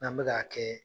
N'an bɛ k'a kɛ